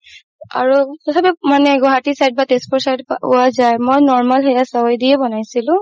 আৰু তথাপিও মানে গুৱাহাতি side বা তেজপুৰ side পোৱা যাই মই normal চেৱাই দিয়ে বনাইছিলো